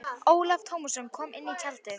Ólafur Tómasson kom inn í tjaldið.